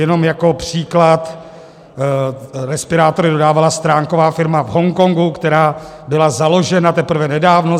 Jenom jako příklad, respirátory dodávala stránková firma v Hongkongu, která byla založena teprve nedávno.